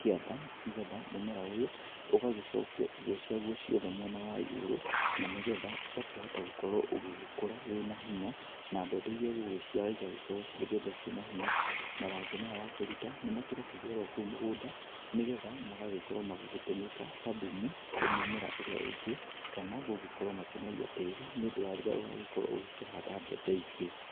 kĩanda nĩgetha mũmera ũyũ ũgagĩcokia irio ciake ciothe mwena wa igũrũ na nĩgetha ũkĩhota gũkũra wĩna hinya na mbembe iria igũciara igagĩkorwo nĩ mbembe cina hinya. Mathangũ maya wakĩruta nĩmakĩrekagua kuo mũgũnda nĩgetha magagĩkorwo magĩtũmĩka ta thumu harĩ mĩmera ĩrĩa ĩngi kana magagikora makĩnoria tĩri nĩ ũndũ wa rĩrĩa ũgagĩkorwo ũkĩhanda mbembe ingĩ.